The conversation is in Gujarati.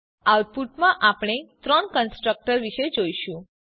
આઉટપુટમાં આપણે ત્રણ કન્સ્ટ્રકટર્સ જોઈશું